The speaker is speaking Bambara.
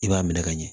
I b'a minɛ ka ɲɛ